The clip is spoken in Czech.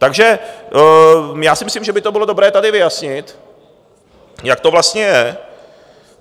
Takže já si myslím, že by to bylo dobré tady vyjasnit, jak to vlastně je.